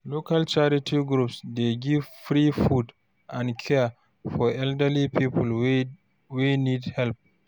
Local charity groups dey give free food and care for elderly people wey need help.